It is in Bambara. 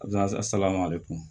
salama ale kun